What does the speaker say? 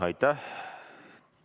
Aitäh!